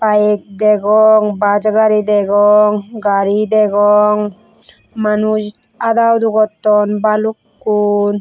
bike degong bus gari degong gari degong manuj ada udo gotton balukkun.